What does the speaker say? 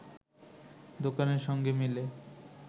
দোকানের সঙ্গে মিলে